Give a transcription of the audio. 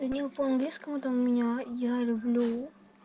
данил по английскому ты у меня я люблю